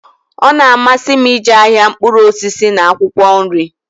Ọ na-amasi m ije ahịa mkpuru osisi n'akwụkwọ nri.